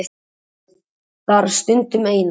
Það þarf stundum. Eina.